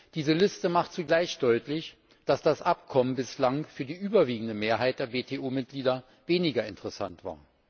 Diese Liste macht zugleich deutlich, dass das Abkommen bislang für die überwiegende Mehrheit der WTO Mitglieder weniger interessant war.